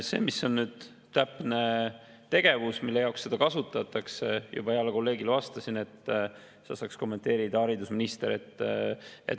Seda, mis on täpne tegevus, mille jaoks seda kasutatakse, saaks kommenteerida haridusminister, nagu ma juba teie heale kolleegile vastasin.